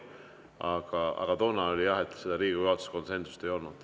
Aga toona, jah, Riigikogu juhatuses konsensust ei olnud.